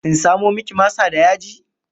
In samo miki masa da yaji?